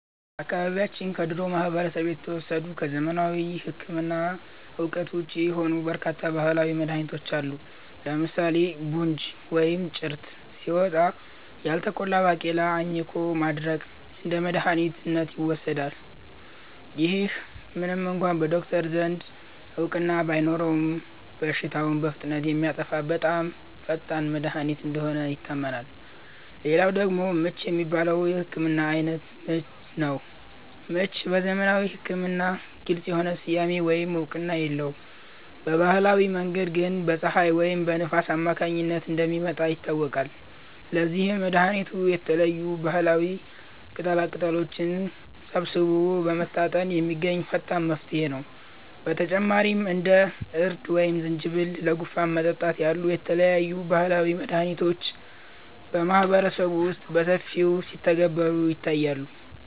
በአካባቢያችን ከድሮው ማህበረሰብ የተወሰዱ፣ ከዘመናዊ ሕክምና እውቀት ውጪ የሆኑ በርካታ ባህላዊ መድኃኒቶች አሉ። ለምሳሌ 'ቡንጅ' (ወይም ጭርት) ሲወጣ፣ ያልተቆላ ባቄላን አኝኮ ማድረቅ እንደ መድኃኒት ይወሰዳል። ይህ ምንም እንኳ በዶክተሮች ዘንድ እውቅና ባይኖረውም፣ በሽታውን በፍጥነት የሚያጠፋ በጣም ፈጣን መድኃኒት እንደሆነ ይታመናል። ሌላው ደግሞ 'ምች' የሚባለው የሕመም ዓይነት ነው። ምች በዘመናዊ ሕክምና ግልጽ የሆነ ስያሜ ወይም እውቅና የለውም፤ በባህላዊ መንገድ ግን በፀሐይ ወይም በንፋስ አማካኝነት እንደሚመጣ ይታወቃል። ለዚህም መድኃኒቱ የተለያዩ ባህላዊ ቅጠላቅጠሎችን ሰብስቦ በመታጠን የሚገኝ ፈጣን መፍትሄ ነው። በተጨማሪም እንደ እርድ ወይም ዝንጅብል ለጉንፋን መጠጣት ያሉ የተለያዩ ባህላዊ መድኃኒቶች በማህበረሰቡ ውስጥ በሰፊው ሲተገበሩ ይታያሉ